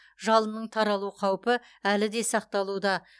жалынның таралу қаупі әлі де сақталуда